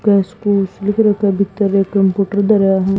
घास फूस लिख रखा है भीतर एक कंप्यूटर धरा है।